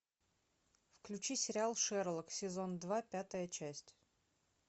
включи сериал шерлок сезон два пятая часть